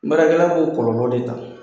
Barakɛla b'o kɔlɔlɔ de ta.